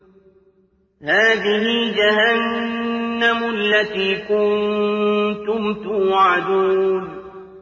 هَٰذِهِ جَهَنَّمُ الَّتِي كُنتُمْ تُوعَدُونَ